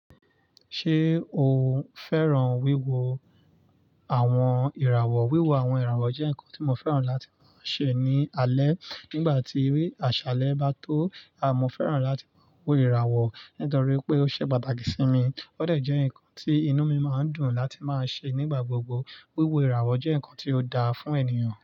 Ṣé o fẹ́ràn wíwo àwọn ìràwọ̀? Wíwo àwọn ìràwọ̀ jẹ́ nǹkan tí mo fẹ́ràn láti máa ṣe ní alẹ́. Nígbà tí àṣálẹ́ bá tó, àmo fẹ́ràn láti máa wo ìràwọ̀ nítorí pé ó ṣe pàtàkì sí mi. Ó déjẹ ǹkan tí inú mi máa ń dùn láti máa ṣe nígbà gbogbo. Wíwo ìràwọ̀ jẹ́ ǹkan tí ó dáa fún ènìyàn.